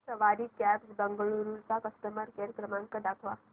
सवारी cabs Bengaluru चा customer care क्रमांक दाखवा